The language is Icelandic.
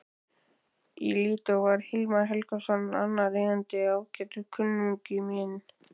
Í Lídó var Hilmar Helgason annar eigandinn, ágætur kunningi minn.